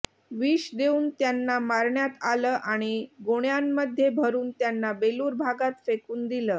विष देऊन त्यांना मारण्यात आलं आणि गोण्यांमध्ये भरून त्यांना बेलूर भागात फेकून दिलं